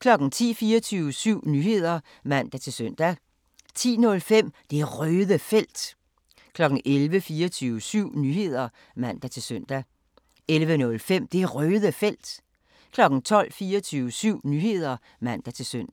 10:00: 24syv Nyheder (man-søn) 10:05: Det Røde Felt 11:00: 24syv Nyheder (man-søn) 11:05: Det Røde Felt 12:00: 24syv Nyheder (man-søn)